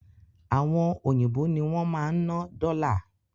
Àwọn òyìnbó ní wọn máa ń ná dọ́là